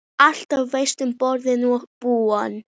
Alltaf varstu boðinn og búinn.